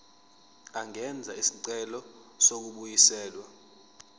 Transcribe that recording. angenza isicelo sokubuyiselwa